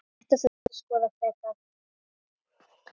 Þetta þurfi að skoða frekar.